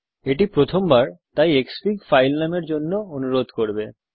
এটি প্রথমবার তাই ক্সফিগ ফাইল নামের জন্য অনুরোধ করবে